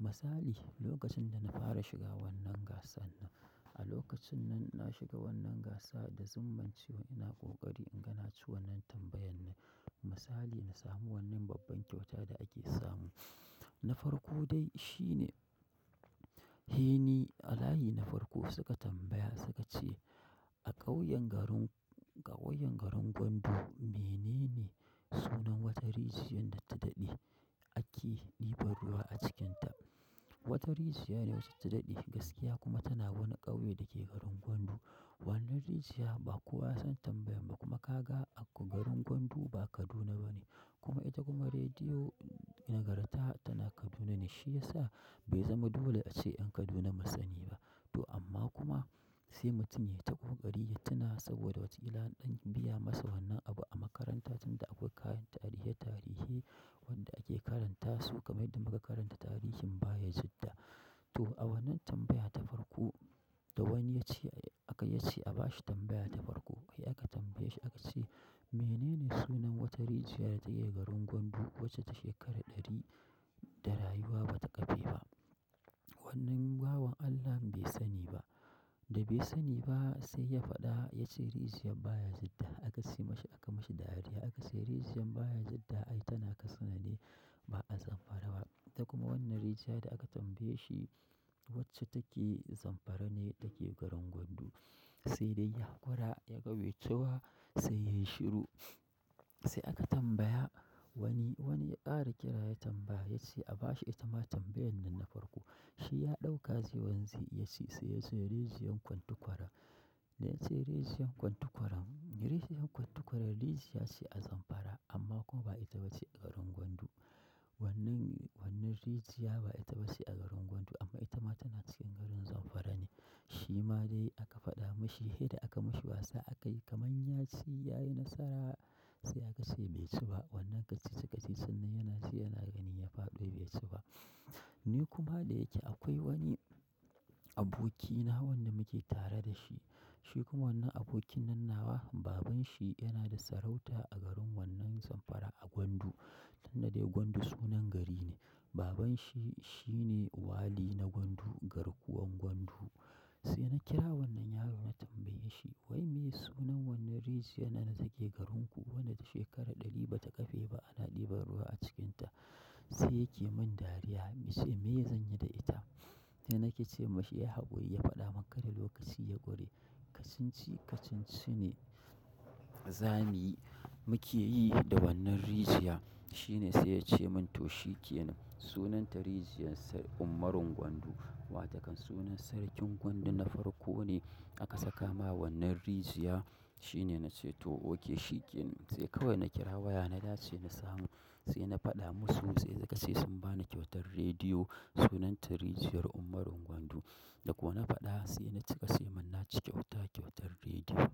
Misali, lokacin da na fara shiga wannan gasan nan, a lokacin nan na shiga wannan gasa da zumunciyo ina ƙoƙari in ga na ci wannan tambayan nan. Misali na samu wannan babban kyauta da ake samu na farko dai shi ne, Heni Alayi na farko suka tambaya suka ce a ƙauyen garin, ƙauyen garin Gwandu menene sunan wata rijiyar da ta daɗe ake ɗiban ruwa a cikinta? Wata rijiyar wacce ta daɗe gaskiya kuma tana wani ƙauye da ke garin Gwandu. Wannan rijiyar ba kowa ya san tambayan ba kuma ka ga garin Gwandu ba Kaduna bane. Kuma ita kuma rediyo na karta tana Kaduna ne shi yasa bai zama dole a ce 'yan Kaduna masu sani ba. Toh amma kuma sai mutum yayi ta ƙoƙari ya tuna saboda wataƙila an biya masa abun a makaranta tunda akwai kayan tarihi wanda ake karantasu kamar yadda muka karanta tarihin bayajidda. To a wannan tambaya ta farko, da wani ya ce aka ya ce a ba shi tambaya ta farko. Sai aka tambaye shi aka ce menene sunan wata rijiyar da take garin Gwandu wacce ta shekara ɗari da rayuwa ba ta kafe ba. Wannan bawan Allah bai sani ba. Da bai sani ba sai ya faɗa ya ce rijiyar Baya Jidda. Aka siyo masa aka mashi dariya aka ce rijiyar Baya Jidda ai tana Katsina ne ba a Zamfara ba. Ta kuma wannan rijiyar da aka tambaye shi wacce take Zamfara ne da ke garin Gwandu. Sai dai ya ƙura ya ƙbe cewa sai yayi shiru. Sai aka tambaya wani, wani ya ƙara kira ya tambaya ya ce a ba shi ita ma tambayan nan na farko. Shi ya ɗauka zai wanzu ya ce sai ya ce rijiyar Kwantukwara. Ya ce rijiyar Kwantukwara, rijiyar Kwantukwara rijiyar ce a Zamfara amma kuma ba ita ba ce a garin Gwandu. Wannan, wannan rijiyar ba ita ba ce a garin Gwandu amma ita ma tana cikin garin Zamfara ne. Shi ma dai aka faɗa mashi, sai da aka mashi wasa aka yi kaman ya ci ya yi nasara sai aka ce bai ci ba. Wannan kacici-kacici sannan yana sai yana gani ya faɗo bai ci ba. Ni kuma da yake akwai wani abokina wanda muke tare da shi. Shi kuma wannan abokin nan nawa babanshi yana da sarauta a garin wannan Zamfara a Gwandu. Tanda dai Gwandu sunan gari ne. Babanshi shine wali na Gwandu, garkuwan Gwandu. Sai na kira wannan yaro na tambaye shi wai me sunan wannan rijiyar nan da take garinku wadda shekara ɗari ba ta kafe ba ana ɗiban ruwa a cikinta. Sai yake mun dariya ya ce me zanyi da ita? Na nake ce masa ya yi haƙuri ya faɗa maka da lokaci ya ƙure. Kacici-kacici ne za mu yi muke yi da wannan rijiyar. Shi ne sai ya ce mun to shi ke nan. Sunanta rijiyar Ummarin Gwandu. Wa takan sunan sarkin Gwandu na farko ne aka saka ma wannan rijiyar. Shi ne na ce to oke shi kenan. Sai kawai na kira waya na dace na samu. Sai na faɗa musu sai suka ce sun ba ni kyautar rediyo sunanta rijiyar Ummarin Gwandu. Da ko na faɗa sai na cika sai mun naci kyauta kyautar rediyo.